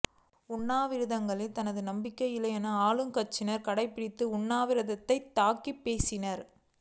உண்ணாவிரதங்களில் தனக்கு நம்பிக்கை இல்லை என ஆளுங்கட்சியினர் கடைபிடித்த உண்ணாவிரதத்தை தாக்கிப் பேசினார்